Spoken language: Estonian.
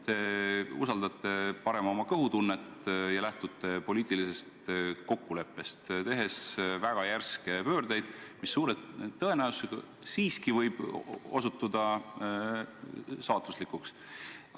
Te usaldate parem oma kõhutunnet ja lähtute poliitilisest kokkuleppest, tehes väga järske pöördeid, mis suure tõenäosusega võib osutuda saatuslikuks.